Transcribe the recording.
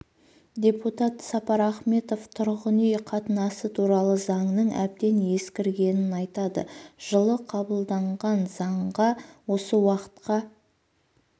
депутат сапар ахметов тұрғын үй қатынасы туралы заңның әбден ескіргенін айтады жылы қабылданған заңға осы уақытқа